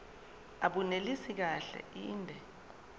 abunelisi kahle inde